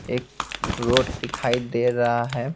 एक रोड दिखाई दे रहा है।